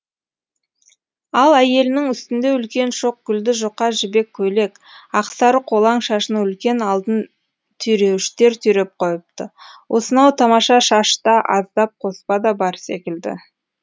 ал әйелінің үстінде үлкен шоқ гүлді жұқа жібек көйлек ақсары қолаң шашына үлкен алтын түйреуіштер түйреп қойыпты осынау тамаша шашта аздап қоспа да бар секілді